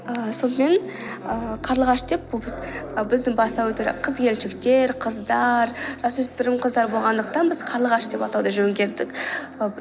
ііі сонымен ііі қарлығаш деп бұл ы біздің бастауы тұр қыз келіншектер қыздар жасөспірім қыздар болғандықтан біз қарлығаш деп атауды жөн